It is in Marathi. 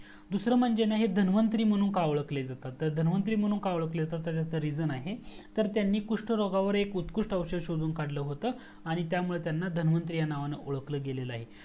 दूसरा म्हणजे ना हे धांनवंतरी म्हणून का ओळखले जातात तर धन्वंतरी म्हणून का ओळखले जातात त्याच REASON आहे तर त्यांनी कुस्ट रोग्यांवर एक उत्कृस्त औषद शोडून काढला होतं आणि त्यामुळे त्यांना धन्वंतरी म्हणून ओळखला गेल आहे